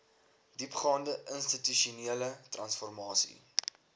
diepgaande institusionele transformasie